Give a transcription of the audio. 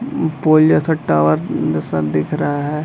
पोल जैसा टॉवर जैसा दिख रहा है।